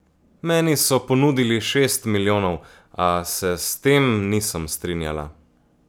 Meni so ponudili šest milijonov, a se s tem nisem strinjala.